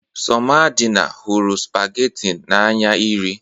Somadina hụrụ spagatin n'anya iri